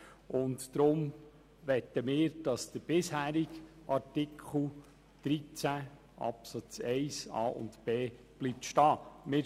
Deshalb möchten wir, dass der bisherige Artikel 13 Absatz 1 Buchstaben a und b bestehen bleibt.